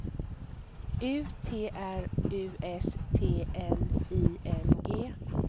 U T R U S T N I N G